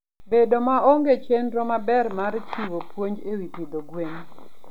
Bedo maonge chenro maber mar chiwo puonj e wi pidho gwen.